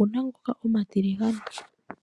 ouma ngoka omatiligane.